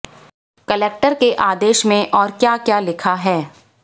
collector के आदेश में और क्या क्या लिखा है